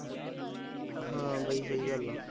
ਹਾਂ ਬਾਈ ਸਹੀ ਗੱਲ ਹੈ